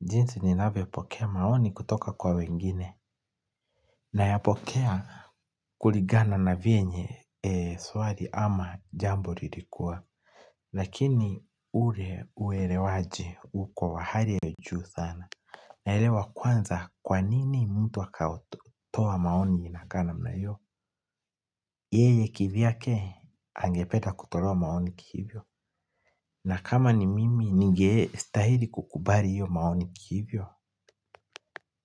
Jinsi ninavyopokea maoni kutoka kwa wengine. Nayapokea kulingana na vyenye swali ama jambo lilikuwa lakini ule uelewaji uko hali ya juu sana naelewa kwanza kwa nini mtu akaotoa maoni inakaa namna hiyo yeye kivyake angependa kutolewa maoni kiivyo na kama ni mimi ningestahili kukubali hio maoni kiivyo.